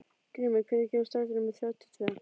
Grímey, hvenær kemur strætó númer þrjátíu og tvö?